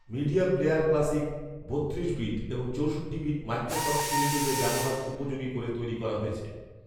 media player classic বত্রিশ bit এবং চৌষট্টি বিট মাইক্রোসফট উইন্ডোজে ব্যবহার উপযোগী করে তৈরী করা হয়েছে